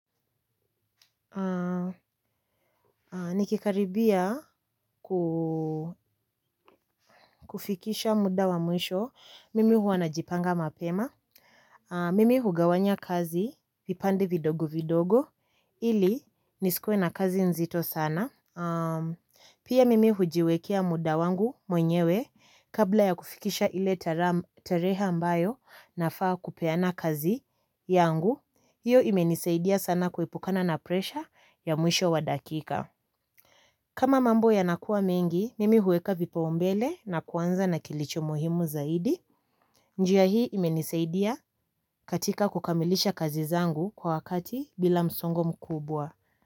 Nikikaribia kufikisha muda wa mwisho mimi huwa najipanga mapema. Mimi hugawanya kazi, vipande vidogo vidogo, ili nisikue na kazi nzito sana. Pia mimi hujiwekia muda wangu mwenyewe, kabla ya kufikisha ile tarehe mbayo nafaa kupeana kazi yangu. Hiyo imenisaidia sana kuipukana na presha ya mwisho wa dakika. Kama mambo yanakua mengi, mimi huweka vipaumbele na kuanza na kilicho muhimu zaidi. Njia hii imenisaidia katika kukamilisha kazi zangu kwa wakati bila msongo mkubwa.